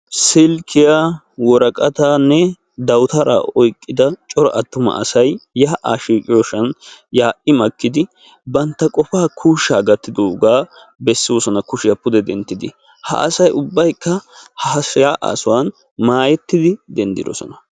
SIlkkiya worqqatanne dawutaraa oyqqida cora attuma asay yaa'a shiqqiyoosan yaa'i makkidii bantta qofaa kuushsha gakkidooga bessoosona kushiya pudde denttiddi ha asay ubbaykk ha yaa'a sohuwan maayettidi denddisoona.